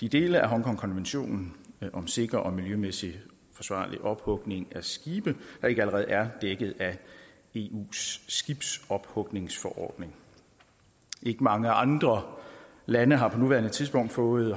de dele af hongkongkonventionen om sikker og miljømæssig forsvarlig ophugning af skibe der ikke allerede er dækket af eus skibsophugningsforordning ikke mange andre lande har på nuværende tidspunkt fået